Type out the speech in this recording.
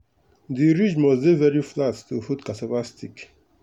the ridge must dey very flat to hold cassava stick.